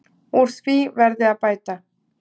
Úr því verði að bæta.